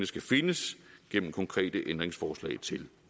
skal findes gennem konkrete ændringsforslag til